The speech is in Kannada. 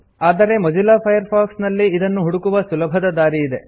ಆದರೆ ಮೊಜಿಲ್ಲಾ ಫೈರ್ಫಾಕ್ಸ್ ನಲ್ಲಿ ಇದನ್ನು ಹುಡುಕುವ ಸುಲಭದ ದಾರಿ ಇದೆ